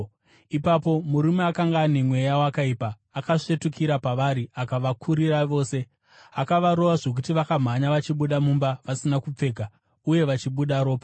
Ipapo murume akanga ane mweya wakaipa akasvetukira pavari akavakurira vose. Akavarova zvokuti vakamhanya vachibuda mumba vasina kupfeka uye vachibuda ropa.